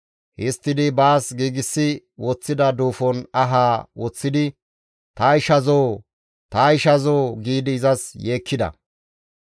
Histtidi baas giigsi woththida duufon ahaa woththidi, «Ta ishazoo! Ta ishazoo!» giidi izas yeekkida.